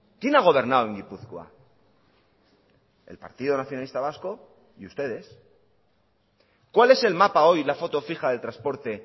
quién a gobernado en gipuzkoa el partido nacionalista vasco y ustedes cuál es el mapa hoy la foto fija del transporte